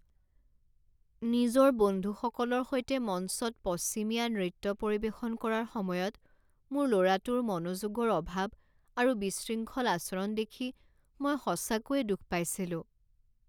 নিজৰ বন্ধুসকলৰ সৈতে মঞ্চত পশ্চিমীয়া নৃত্য পৰিৱেশন কৰাৰ সময়ত মোৰ ল'ৰাটোৰ মনোযোগৰ অভাৱ আৰু বিশৃংখল আচৰণ দেখি মই সঁচাকৈয়ে দুখ পাইছিলোঁ।